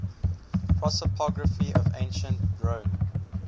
prosopography of ancient rome